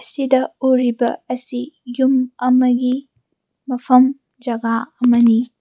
ꯁꯤꯗ ꯎꯔꯤꯕ ꯑꯁꯤ ꯌꯨꯝ ꯑꯃꯒꯤ ꯃꯐꯝ ꯖꯒꯥ ꯑꯃꯅꯤ꯫